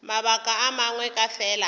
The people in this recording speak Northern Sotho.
mabaka a mangwe ke fela